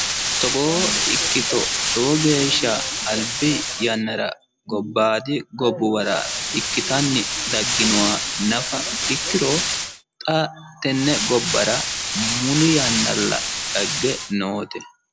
Togoo ikkito lowo geeshsha Albi yannara gobbaadi gobbuwara ikkitanni dagginoha nafa ikkiro xa tenne gobbara muli yannalla dagge noote.